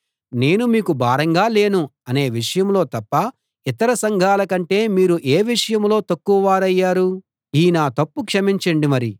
నేను మీకు భారంగా లేను అనే విషయంలో తప్ప ఇతర సంఘాలకంటే మీరు ఏ విషయంలో తక్కువ వారయ్యారు ఈ నా తప్పు క్షమించండి మరి